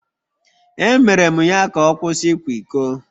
Emere m ya ka ọ kwụsị ịkwa iko